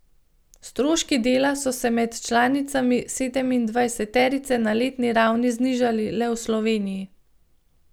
Stroški dela so se med članicami sedemindvajseterice na letni ravni znižali le v Sloveniji.